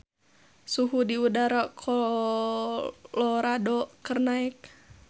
Suhu udara di Colorado keur naek